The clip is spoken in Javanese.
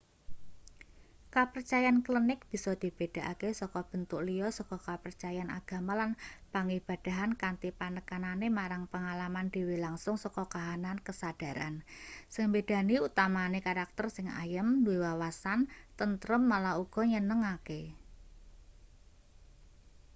kapercayan klenik bisa dibedhakake saka bentuk liya saka kapercayan agama lan pangibadahan kanthi penekanane marang pengalaman dhewe langsung saka kahanan kesadharan sing mbedani utamane karakter sing ayem duwe wawasan tentrem malah uga nyenengake